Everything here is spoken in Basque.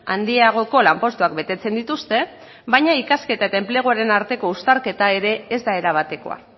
handiagoko lanpostuak betetzen dituzte baina ikasketa eta enpleguaren arteko uztarketa ere ez da erabatekoa